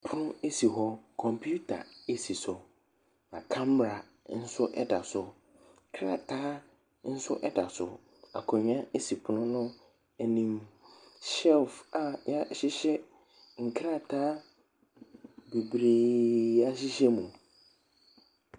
Pon esi hɔ. Kɔmpiuta esi so. Na kamara nso ɛda so. Krataa nso ɛda so. Akonwa esi pono no anim. Shɛlf a yɛahyehyɛ nkrataa bebree ahyehyɛ mu.